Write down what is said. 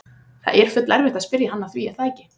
Það er full erfitt að spyrja hann að því er það ekki?